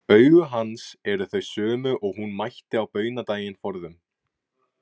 Augu hans eru þau sömu og hún mætti á baunadaginn forðum.